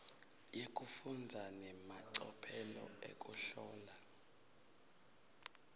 yekufundza nemacophelo ekuhlola